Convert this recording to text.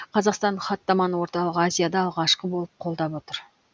қазақстан хаттаманы орталық азияда алғашқы болып қолдап отыр